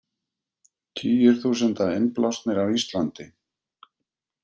Tugir þúsunda innblásnir af Íslandi